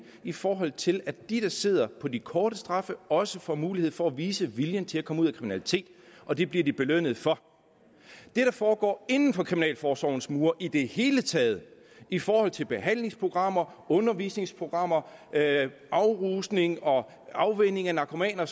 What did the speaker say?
i forhold til at de der sidder på de korte straffe også får mulighed for at vise viljen til at komme ud af kriminalitet og det bliver de belønnet for det der foregår inden for kriminalforsorgens mure i det hele taget i forhold til behandlingsprogrammer undervisningsprogrammer afrusning og afvænning af narkomaner og